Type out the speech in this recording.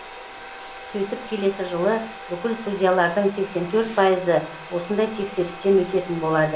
сөйтіп келесі жылы бүкіл судьялардың сексен төрт пайызы осындай тексерістен өтетін болады